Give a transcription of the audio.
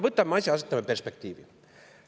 Võtame asja ja asetame perspektiivi.